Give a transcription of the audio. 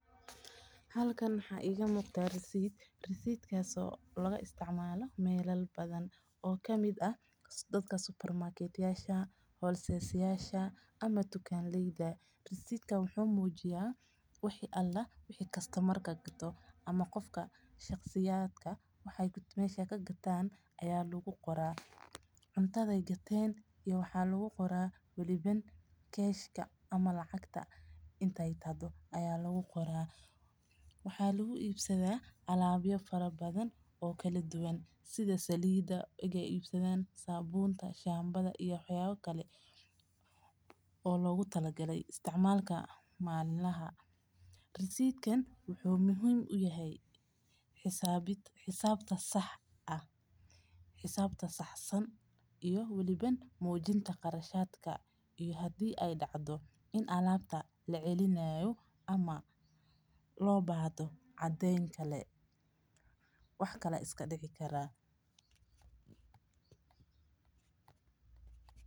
Halkan waxaa iiga muuqda risid oo laga isticmaalo meela badan oo kamid ah dadka tukan leyda wuxuu mujiya dadka waxeey gateen iyo meesha aay ka gateen wax yaabaha aay gateen sida saliida shambaha wuxuu mujiya xisabta saxda ah iyo qarashadka iyo hadii la celinaayo cadeen ayuu mujiya.